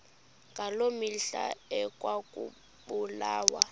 ngaloo mihla ekwakubulawa